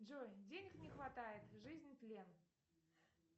джой денег не хватает жизнь тлен